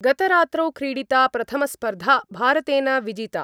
गतरात्रौ क्रीडिता प्रथमस्पर्धा भारतेन विजिता।